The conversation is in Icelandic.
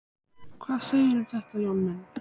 Hvað segirðu um þetta, Jón minn?